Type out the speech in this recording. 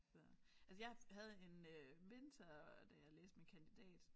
Så altså jeg havde en øh mentor da jeg læste min kandidat